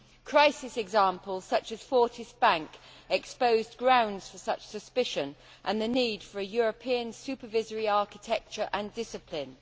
Crisis examples, such as Fortis Bank, exposed grounds for such suspicion and the need for a European supervisory architecture and discipline.